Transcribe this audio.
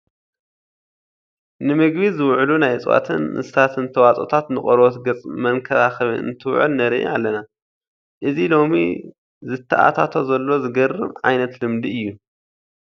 ንምግቢ ዝውዕሉ ናይ እፅዋትን እንስሳን ተዋፅኦታት ንቆርበት ገፅ መንከባኸቢ እንትውዕል ንርኢ ኣለና፡፡ እዚ ሎሚ ዝተኣታቶ ዘሎ ዘግርም ዓይነት ልምዲ እዩ፡፡